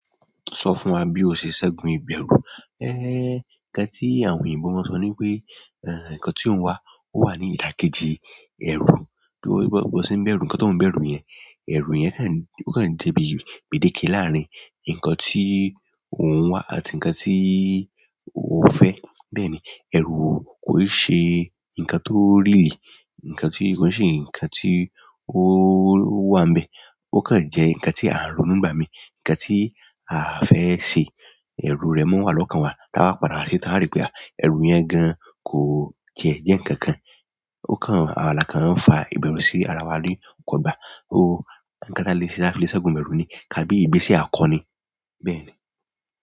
Sọ fún wa bí o ṣe ṣẹ́gun ìbẹ̀rù. Ẹ́, ǹkan tí àwọn òyìnbó máa ń sọ ní pé, eh, ǹkan tó ń wá, ó wà ní ìdàkejì ẹ̀rù. Bó ṣe ń bẹ̀rù, ǹkan tó ń bẹ̀rù yẹn, ẹrù yẹn kàn jẹ́ bíi gbèdéke láàárín ǹkan tí ò ń wá àti ǹkan tí ó fẹ́. Bẹ́ẹ̀ni, ẹrù kò ṣe ǹkan tó real, ǹkan tí kò ń ṣe ǹkan tí ó wà ń bẹ̀. Ó kàn jẹ́ ǹkan tí à ń ronú nígbà mí, ǹkan tí à fẹ́ ṣe. Ẹ̀rù rẹ̀ máa n wà lọ́kàn wa, tí a bá padà ṣetán a rí pé ẹrù yẹn gan kò tiẹ̀ jẹ́ ǹkan kan. Ó kàn, àwa la kàn ń fa ìbẹ̀rù sí ara wa ní kò gba. Ó, ǹkan tí a fi le ṣẹ́gun ìbẹ̀rù ni, kí a gbé ìgbésẹ̀ akọni. Bẹ́ẹ̀ni.